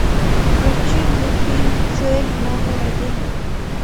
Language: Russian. включи мне фильм цель номер один